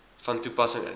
van toepassing is